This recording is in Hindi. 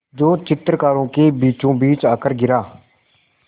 जो चित्रकारों के बीचोंबीच आकर गिरा